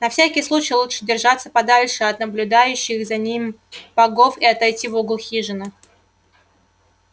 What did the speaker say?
на всякий случай лучше держаться подальше от наблюдающих за ним богов и отойти в угол хижины